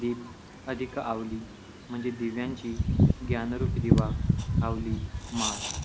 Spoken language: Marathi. दिप अधिक आवली म्हणजे दिव्यांची ज्ञानरूपी दिवा आवली माळ.